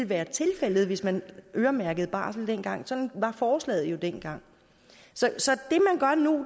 været tilfældet hvis man øremærkede barsel dengang sådan var forslaget jo dengang så